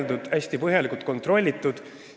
Nad peavad olema hästi põhjalikult kontrollitud.